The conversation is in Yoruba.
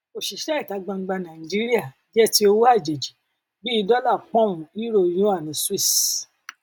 òṣìṣẹ ìta gbangba nàìjíríà jẹ ti owó àjèjì bí dólà poun euro yuan switz